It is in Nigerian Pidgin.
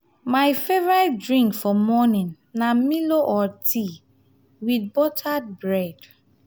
my favorite drink for morning na milo or tea with buttered bread.